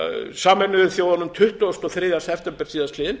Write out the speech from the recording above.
sameinuðu þjóðunum tuttugasta og þriðja september síðastliðinn